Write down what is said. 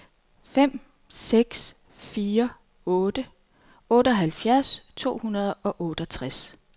fem seks fire otte otteoghalvfjerds to hundrede og otteogtres